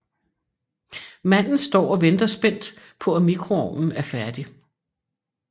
Manden står og venter spændt på at mikroovnen er færdig